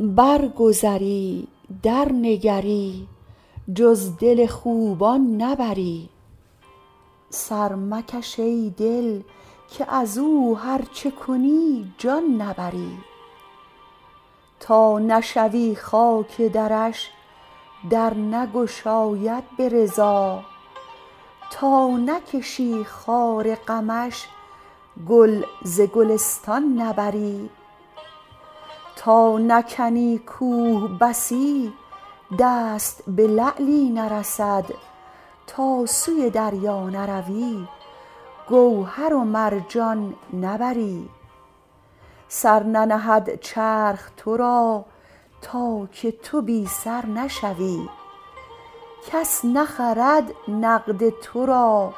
برگذری درنگری جز دل خوبان نبری سر مکش ای دل که از او هر چه کنی جان نبری تا نشوی خاک درش در نگشاید به رضا تا نکشی خار غمش گل ز گلستان نبری تا نکنی کوه بسی دست به لعلی نرسد تا سوی دریا نروی گوهر و مرجان نبری سر ننهد چرخ تو را تا که تو بی سر نشوی کس نخرد نقد تو را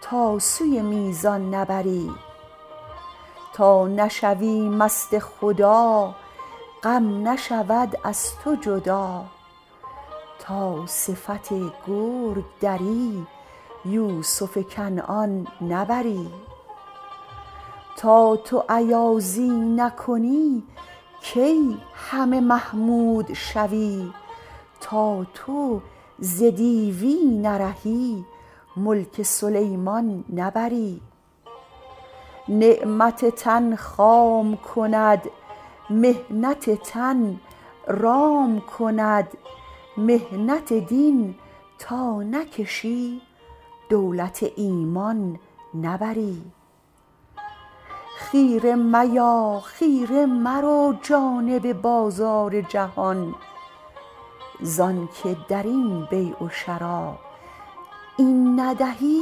تا سوی میزان نبری تا نشوی مست خدا غم نشود از تو جدا تا صفت گرگ دری یوسف کنعان نبری تا تو ایازی نکنی کی همه محمود شوی تا تو ز دیوی نرهی ملک سلیمان نبری نعمت تن خام کند محنت تن رام کند محنت دین تا نکشی دولت ایمان نبری خیره میا خیره مرو جانب بازار جهان ز آنک در این بیع و شری این ندهی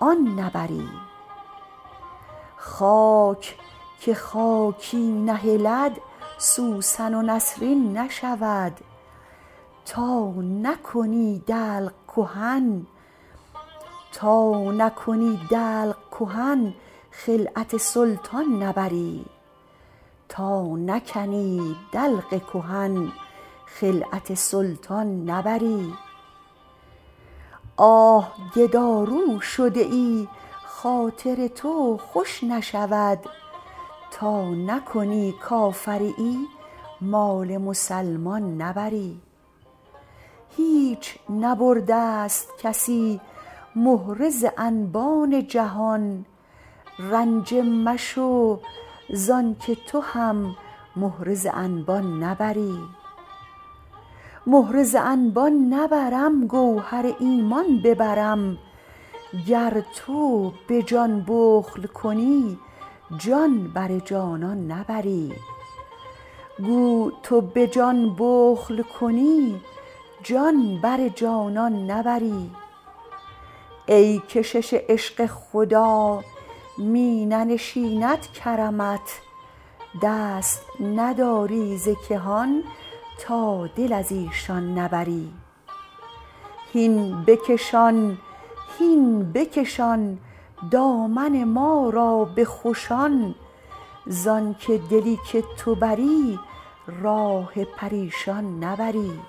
آن نبری خاک که خاکی نهلد سوسن و نسرین نشود تا نکنی دلق کهن خلعت سلطان نبری آه گدارو شده ای خاطر تو خوش نشود تا نکنی کافریی مال مسلمان نبری هیچ نبرده ست کسی مهره ز انبان جهان رنجه مشو ز آنک تو هم مهره ز انبان نبری مهره ز انبان نبرم گوهر ایمان ببرم گو تو به جان بخل کنی جان بر جانان نبری ای کشش عشق خدا می ننشیند کرمت دست نداری ز کهان تا دل از ایشان نبری هین بکشان هین بکشان دامن ما را به خوشان ز آنک دلی که تو بری راه پریشان نبری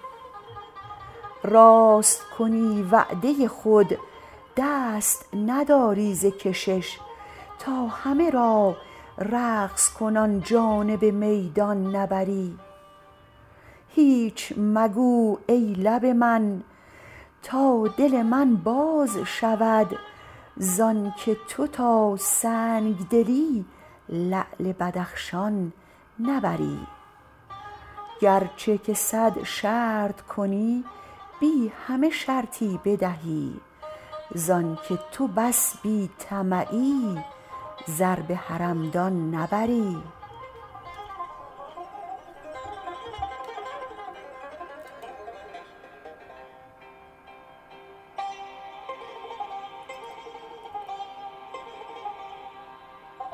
راست کنی وعده خود دست نداری ز کشش تا همه را رقص کنان جانب میدان نبری هیچ مگو ای لب من تا دل من باز شود ز آنک تو تا سنگ دلی لعل بدخشان نبری گرچه که صد شرط کنی بی همه شرطی بدهی ز آنک تو بس بی طمعی زر به حرمدان نبری